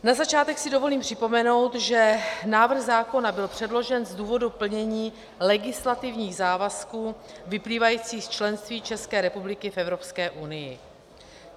Na začátek si dovolím připomenout, že návrh zákona byl předložen z důvodu plnění legislativních závazků vyplývajících z členství České republiky v Evropské unii.